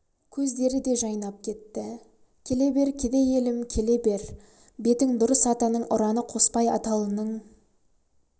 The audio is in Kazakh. көздері де жайнап кетті келе бер кедей елім келе бер бетің дұрыс атаның ұраны қоспай аталының